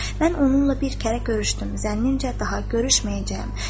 Mən onunla bir kərə görüşdüm, zənnimcə daha görüşməyəcəyəm.